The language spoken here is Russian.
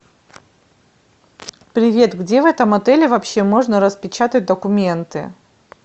привет где в этом отеле вообще можно распечатать документы